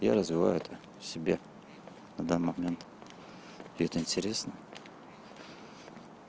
я развивают в себе в данный момент это интересно